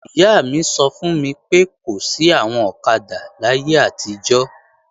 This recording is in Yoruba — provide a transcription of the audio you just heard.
Ìyá mi sọ fún mi pé, kò sí àwọn ọ̀kadà láyé àtijọ́